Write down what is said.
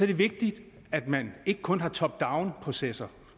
det vigtigt at man ikke kun har top down processer